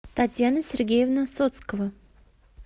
татьяна сергеевна соцкова